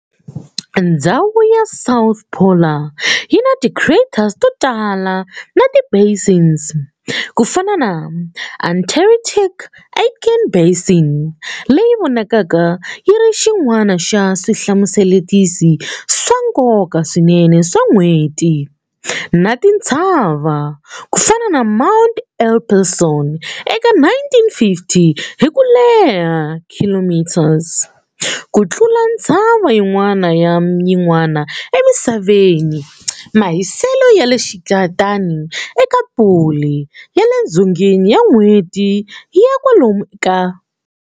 Ndzhawu ya south polar yina ti craters totala na ti basins, kufana na Antarctic-Aitken basin, leyi vonakaka yiri xin'wana xa swihlawulekisi swa nkoka swinene swa N'hweti, na tintshava, kufana na Mount Epsilon eka 9050 hiku leha km, ku tlula ntshava yin'wana na yin'wana eMisaveni Mahiselo ya le xikarhi eka pole ya le dzongeni ya N'hweti ya kwalomu ka.